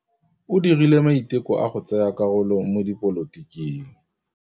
O dirile maitekô a go tsaya karolo mo dipolotiking.